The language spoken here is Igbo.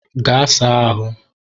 Gaa saa ahụ!